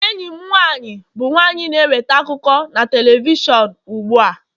enyi m nwanyị bụ nwanyị na-eweta akụkọ na telivishọn ugbu a